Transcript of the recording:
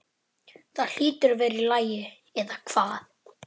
Það hlýtur að vera í lagi, eða hvað?